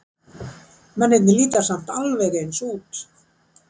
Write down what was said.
Mennirnir líta samt alveg eins út.